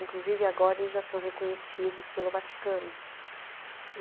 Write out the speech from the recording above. Inclusive, agora eles já são reconhecidos pelo Vaticano.